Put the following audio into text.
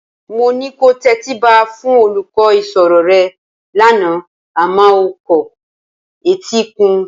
Mo ní kò tẹtíba fún olùkọ́ ìṣirò rẹ lánàá a máa o kọ etí ikún